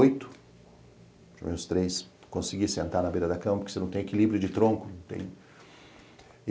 Os três consegui sentar na beira da cama, porque você não tem equilíbrio de tronco.